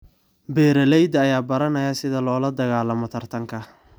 Beeralayda ayaa baranaya sida loola dagaalamo tartanka.